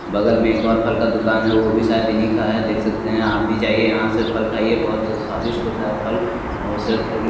बगल मे एक और फल का दुकान है वो भी शायद इन्ही का है देख सकते है आप भी जाइए आप यहाँ से फल खाइए बहुत स्वादिष्ट होता है फल और सेहत के लिए--